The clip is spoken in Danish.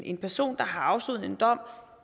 en person der har afsonet en dom